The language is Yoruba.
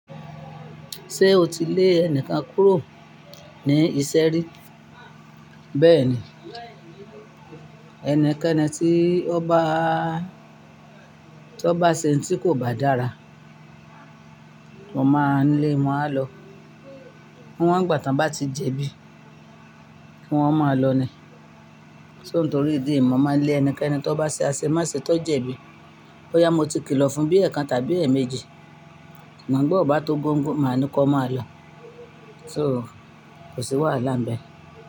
Ṣé o ti lé ẹni kan kúrò ní iṣẹ́ rí? Bẹ́ẹ̀ni, ẹnikẹ́ni tí ó bá, tí ó bá ṣe ohun tí kò bá dára, wọ́n máa ń lé, wọ́n á lọ. Níwọ́n ìgbà tí wọ́n bá ti jẹ̀bi, ki wọ́n máa lọ ni. So nítorí ìdí mi, mo máa ń lé ẹnikẹ́ni tí ó bá ṣe àṣẹ máṣe tí ó jẹ̀bi. Ó yá, mo ti kìlọ̀ fún bí ẹ̀ kan tàbí ẹ̀ méjì, ṣugbọn bó bá tó gbóǹgbóǹ, màá ni kọ́, máa lọ. So kò sí wàhálà níbẹ̀